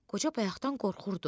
Qoca bayaqdan qorxurdu.